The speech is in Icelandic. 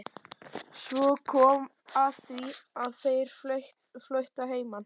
Svo kom að því að þær fluttu að heiman.